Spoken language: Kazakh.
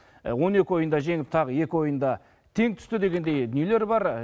он екі ойында жеңіп тағы екі ойында тең түсті дегендей дүниелер бар